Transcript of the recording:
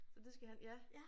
Så det skal han ja